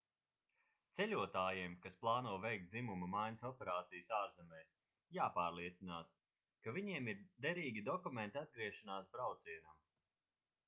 ceļotājiem kas plāno veikt dzimuma maiņas operācijas ārzemēs jāpārliecinās ka viņiem ir derīgi dokumenti atgriešanās braucienam